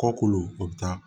Kɔkolo o bɛ taa